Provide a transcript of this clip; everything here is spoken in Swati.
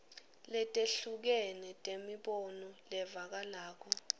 letehlukene temibono levakalako